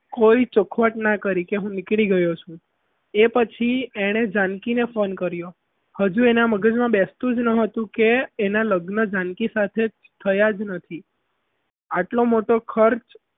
ચોખવટ ના કરી કે હું નીકળી ગયો છુંછું એ પછી એને જાનકીને phone કર્યો હજી એના મગજમાં બેસતું જ ન હતું કે એના લગ્ન જાનકી સાથે થયા જ નથી આટલો મોટો ખર્ચ